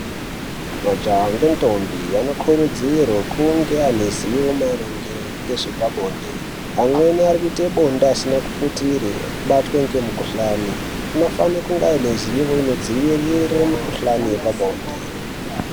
Majaha ngendombi anokurudzirwa kunge ane zivo maringe ngezvepabonde. Amweni ari kuite bonde asina kuputire, obatwe ngemukuhlani. Anofana kunge ane zivo nedzivirire mikuhlane yepabonde.